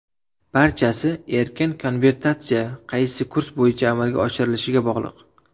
Barchasi erkin konvertatsiya qaysi kurs bo‘yicha amalga oshirilishiga bog‘liq.